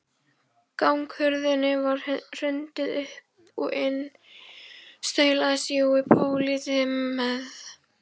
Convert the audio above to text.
Ganghurðinni var hrundið upp og inn staulaðist Jói pólití með